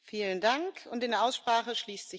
Frau Präsidentin, Herr Kommissar!